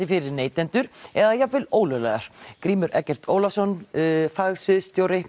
fyrir neytendur eða jafnvel ólöglegar Grímur Eggert Ólafsson